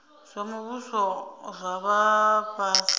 zwa muvhuso zwa vha fhasi